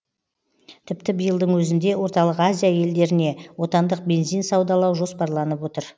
тіпті биылдың өзінде орталық азия елдеріне отандық бензин саудалау жоспарланып отыр